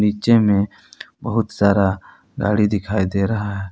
नीचे में बहुत सारा गाड़ी दिखाई दे रहा है।